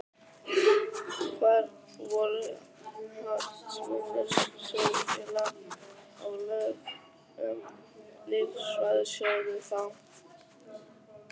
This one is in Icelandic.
Hvar voru hagsmunir sjóðfélaga og lög um lífeyrissjóði þá?